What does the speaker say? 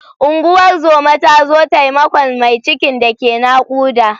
Unguwar zoma ta zo taimakon mai cikin da ke naƙuda.